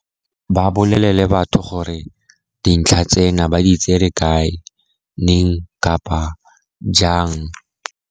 Ba bolelele batho gore dintlha tsena ba di tsere kae, neng, kapa jang.